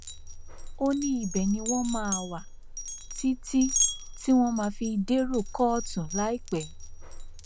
ó ní ibẹ ni wọn máa wà títí tí wọn fi máa dèrò kóòtù láìpẹ